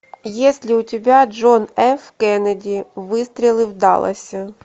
есть ли у тебя джон ф кеннеди выстрелы в далласе